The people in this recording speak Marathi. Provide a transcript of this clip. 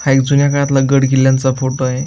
हा एक जुन्या काळातील गड किल्याचा फोटो आहे.